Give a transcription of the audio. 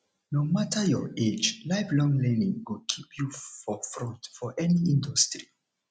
no matter your age lifelong learning go keep you for front for any industry